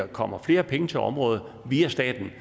kommer flere penge til området via staten